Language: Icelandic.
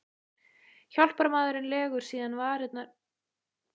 Hjálparmaðurinn legur síðan varirnar yfir opinn munninn og blæs.